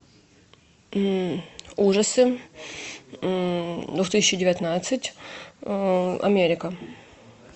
ужасы две тысячи девятнадцать америка